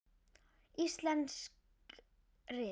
Íslensk rit